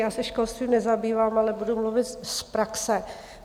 Já se školstvím nezabývám, ale budu mluvit z praxe.